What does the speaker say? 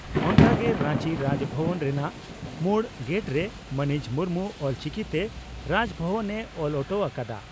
ᱚᱱᱠᱟᱜᱮ ᱨᱟᱧᱪᱤ ᱨᱟᱡᱽᱵᱷᱚᱵᱚᱱ ᱨᱮᱱᱟᱜ ᱢᱩᱲ ᱜᱮᱴᱨᱮ ᱢᱟᱹᱱᱤᱡ ᱢᱩᱨᱢᱩ ᱚᱞᱪᱤᱠᱤᱛᱮ 'ᱨᱟᱡᱽᱵᱷᱚᱵᱚᱱ' ᱮ ᱚᱞ ᱚᱴᱚ ᱟᱠᱟᱫᱼᱟ ᱾